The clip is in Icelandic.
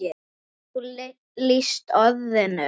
Getur þú leyst orðin?